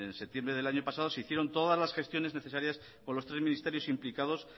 septiembre del año pasado se hicieron todas las gestiones necesarias con los tres ministerios implicados